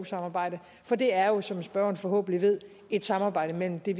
samarbejdet for det er jo som spørgeren forhåbentlig ved et samarbejde mellem det